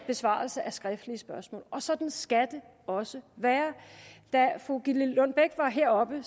besvarelse af skriftlige spørgsmål og sådan skal det også være da fru gitte lillelund bech var heroppe